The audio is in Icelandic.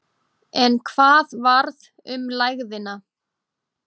En hvað varð um lægðina?